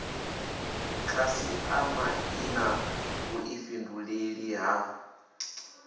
khasiṱama i na vhuḓifhinduleli ha